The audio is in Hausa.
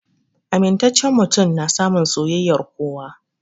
Amintacen mutum na samun soyayyar kowa